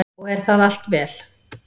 Og er það allt vel.